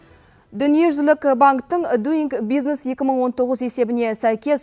дүниежүзілік банктің дуинг бизнес екі мың от тоғыз есебіне сәйкес